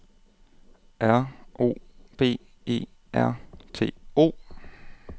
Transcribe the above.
R O B E R T O